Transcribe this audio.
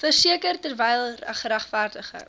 verseker terwyl geregverdigde